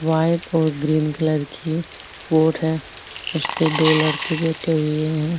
White और green colour की boat है उसपे दो लड़के बैठे हुए है।